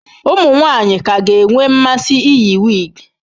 Ụmụ nwanyị ka ga-enwe mmasị iyi wigs.